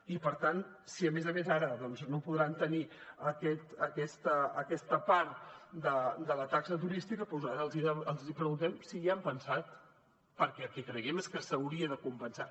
i per tant si a més a més ara no podran tenir aquesta part de la taxa turística doncs ara els preguntem si hi han pensat perquè el que creiem és que s’hauria de compensar